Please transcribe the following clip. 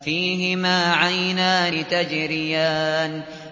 فِيهِمَا عَيْنَانِ تَجْرِيَانِ